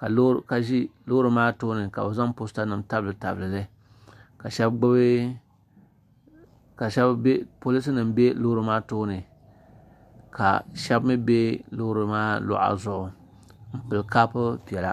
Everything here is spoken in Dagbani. tabili Lori maa tuuni ka be zaŋ ka polinsima ka shɛbi mi bɛ lori maa luga zuɣ' n pɛli kaapu piɛlla